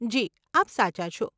જી, આપ સાચા છો.